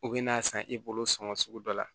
U bɛ n'a san i bolo sɔngɔ sugu dɔ la